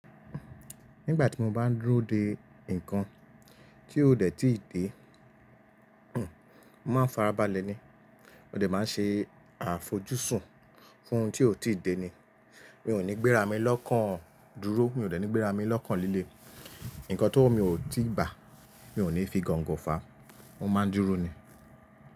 Nígbà tí mo bá n dúró de nnkan tí ó dẹ̀ ti dé, mo máa farabalẹ̀ ni. Mo dẹ̀ máa ṣe àfojúsùn fún ohun tí ó ti dé ni. Mi ò ní gbéra mi lọ́kàn dúró, mi ò dẹ̀ ní gbéra mi lọ́kàn líle. Nnkan tówo mi ò tíì bà, mi ò ní fi gongo fàá, mo máa n dúró ni.